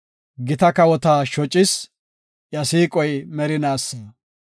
Gita kawota shocis; iya siiqoy merinaasa.